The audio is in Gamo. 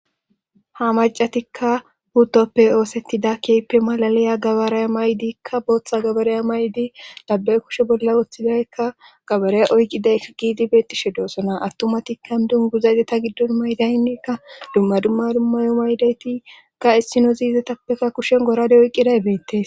ha macatikka hutoppe oosettida keyppe malaliya gabaraya maydikka booththa gabaraya maydi dabbe kushe bolla wooththidaykka gabarey oyqqiday giidi beettishe doosona attumatikka dungu zayzeta giddon maydaynnekka dumma dumma dummayo maydaytikka issino ziizetappeka kushen gorade oyqqiday beettes